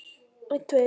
Hann er refsing mín.